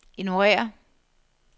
ignorér